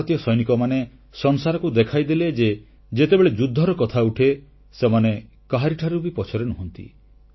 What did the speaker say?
ଭାରତୀୟ ସୈନିକମାନେ ସଂସାରକୁ ଦେଖାଇଦେଲେ ଯେ ଯେତେବେଳେ ଯୁଦ୍ଧର କଥା ଉଠେ ସେମାନେ କାହାରିଠାରୁ ବି ପଛରେ ନୁହଁନ୍ତି